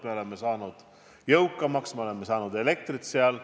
Me oleme tänu sellele saanud jõukamaks, me oleme saanud oma elektri sealt.